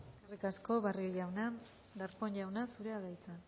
eskerrik asko barrio jauna darpón jauna zurea da hitza